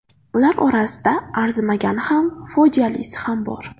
Ular orasida arzimagani ham, fojialisi ham bor.